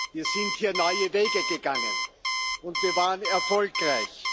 Wir sind hier neue Wege gegangen, und wir waren erfolgreich.